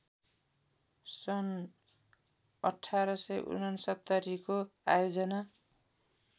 सन् १८६९ को आयोजना